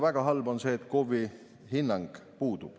Väga halb on see, et KOV‑ide hinnang puudub.